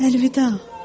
Əlvida,